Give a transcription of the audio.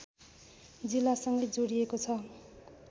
जिल्लासँगै जोडिएको छ